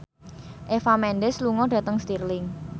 Eva Mendes lunga dhateng Stirling